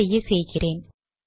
அப்படியே செய்கிறேன்